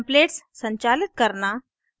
templates संचालित करना